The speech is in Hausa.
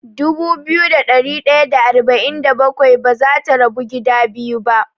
Dubu biyu da ɗari ɗaya da arba'in da bakwai bazata rabu gida biyu ba.